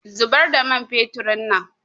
Zubar da man feturin nan